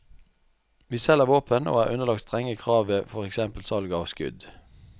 Vi selger våpen og er underlagt strenge krav ved for eksempel salg av skudd.